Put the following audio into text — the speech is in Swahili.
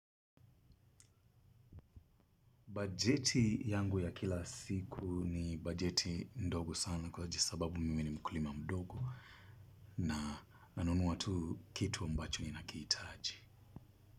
Bajeti yangu ya kila siku ni bajeti ndogo sana kwa jisababu mimi ni mkulima mdogo na nanunua tu kitu ambacho ni nakihitaji.